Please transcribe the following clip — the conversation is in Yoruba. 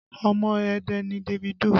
Omo Ẹdẹ ni Davido